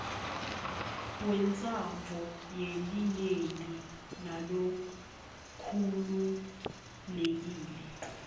wentsandvo yelinyenti nalokhululekile